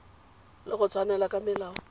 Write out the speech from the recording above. le go tshwaela ka melao